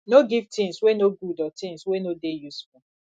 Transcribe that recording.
no give things wey no good or things wey no dey useful